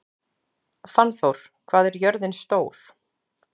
Fannþór, hvað er jörðin stór?